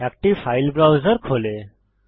একটি file browser খোলে